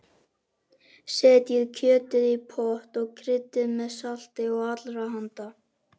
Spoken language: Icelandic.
Setjið kjötið í pott og kryddið með salti og allrahanda.